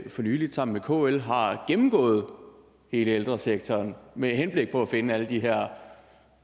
nylig sammen med kl har gennemgået hele ældresektoren med henblik på at finde alle de her